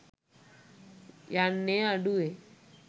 යන්නේ අඩුවෙන්.